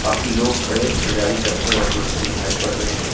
काफी लोग खड़े खरीदारी करते और बेचते दिखाई पड़ रहे हैं।